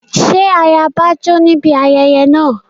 Ṣé ayaba jó níbi ayẹyẹ náà?